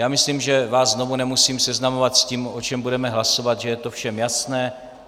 Já myslím, že vás znovu nemusím seznamovat s tím, o čem budeme hlasovat, že je to všem jasné.